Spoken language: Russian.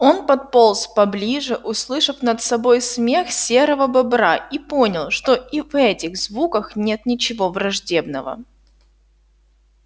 он подполз поближе услышал над собой смех серого бобра и понял что и в этих звуках нет ничего враждебного